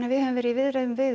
við höfum verið í viðræðum